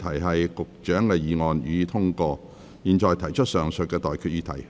我現在向各位提出上述待決議題。